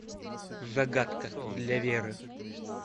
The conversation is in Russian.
загадка для веры